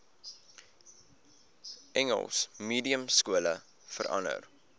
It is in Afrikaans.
engels mediumskole verander